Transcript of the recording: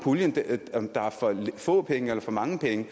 om der er for få penge eller for mange penge